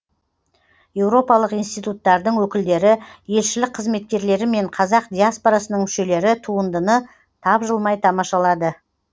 еуропалық институттардың өкілдері елшілік қызметкерлері мен қазақ диаспорасының мүшелері туындыны тапжылмай тамашалады